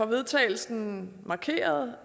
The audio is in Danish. vedtagelsen markerede